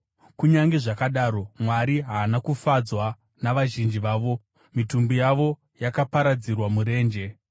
Kunyange zvakadaro, Mwari haana kufadzwa navazhinji vavo; mitumbi yavo yakaparadzirwa murenje.